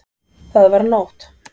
Það var nótt.